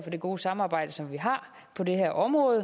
det gode samarbejde som vi har på det her område